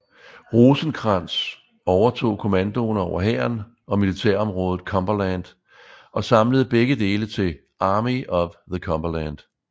Rosecrans overtog kommandoen over hæren og militærområdet Cumberland og samlede begge dele til Army of the Cumberland